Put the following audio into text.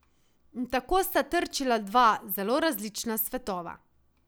In tako sta trčila dva zelo različna svetova.